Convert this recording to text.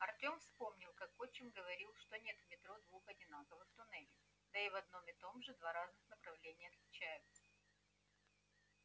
артём вспомнил как отчим говорил что нет в метро двух одинаковых туннелей да и в одном и том же два разных направления отличаются